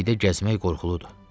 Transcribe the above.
İkilikdə gəzmək qorxuludur.